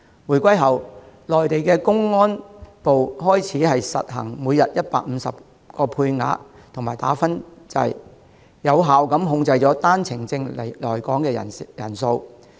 回歸後，內地公安部開始實行每天批出150個配額及"打分制"，有效控制單程證來港人數。